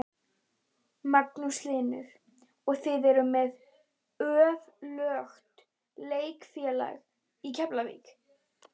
Magnús Hlynur: Og þið eruð með öflugt leikfélag í Keflavík?